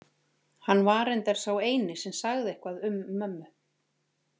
Hann var reyndar sá eini sem sagði eitthvað um mömmu.